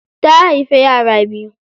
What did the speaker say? Ta haifi yara biyu.